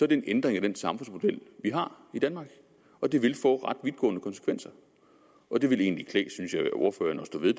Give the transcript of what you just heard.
det en ændring af den samfundsmodel vi har i danmark og det vil få ret vidtgående konsekvenser det vil egentlig klæde ordføreren at stå ved